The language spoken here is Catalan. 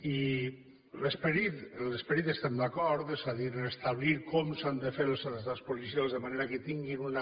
i en l’esperit hi estem d’acord és a dir a establir com s’han de fer els atestats policials de manera que tinguin una